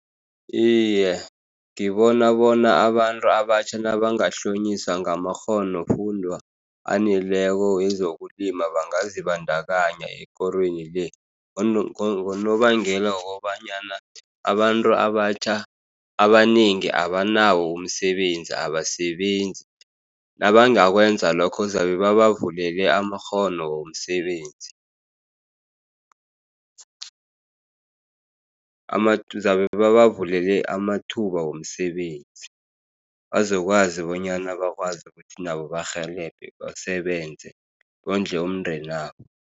Iye, ngibona bona abantu abatjha nabangahlonyiswa ngamakghonofundwa aneleko wezokulima bangazibandakanya ekorweni le, ngonobangela wokobanyana abantu abatjha abanengi abanawo umsebenzi, abasebenzi. Nabangakwenza lokho, zabe babavulele amakghono womsebenzi. Bazabe babavulele amathuba womsebenzi, bazokwazi bonyana bakwazi ukuthi nabo barhelebhe, basebenze, bondle umndeni wabo.